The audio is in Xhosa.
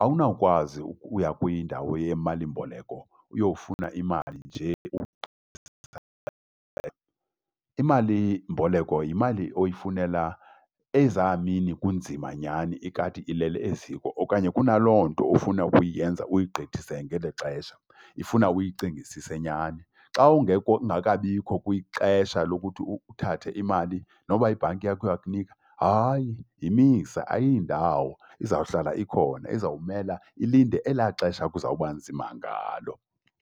Awunawukwazi ukuya kwindawo yemalimboleko uyofuna imali nje . Imalimboleko yimali oyifunela eza mini kunzima nyhani ikati ileli eziko okanye kunaloo nto ofuna ukuyenza uyigqithise ngelo xesha, ifuna uyicingisise nyhani. Xa ungekho, ungekabikho kwixesha lokuthi uthathe imali noba ibhanki yakho iyakunika, hayi, yimise ayiyindawo izawuhlala ikhona izawumela ilinde elaa xesha kuzawuba nzima ngalo.